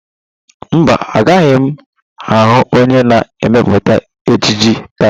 Mba, agaghị m ahụ onye na emepụta ejiji taa.